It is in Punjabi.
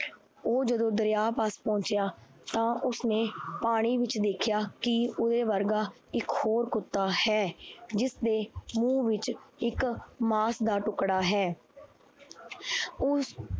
ਉਹ ਜਦੋਂ ਦਰਿਆ ਪਹੁੰਚਿਆ ਤਾਂ ਉਸਨੇ ਪਾਣੀ ਵਿੱਚ ਦੇਖਿਆ ਕਿ ਉਹਦੇ ਵਰਗਾ ਇੱਕ ਹੋਰ ਕੁੱਤਾ ਹੈ, ਜਿਸਦੇ ਮੂੰਹ ਵਿੱਚ ਇੱਕ ਮਾਸ ਦਾ ਟੁੱਕੜਾ ਹੈ ਉਸ